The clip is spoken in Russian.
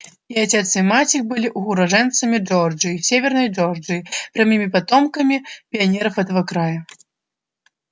и отец и мать их были уроженцами джорджии северной джорджии прямыми потомками пионеров этого края